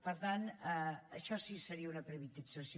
per tant això sí que seria una privatització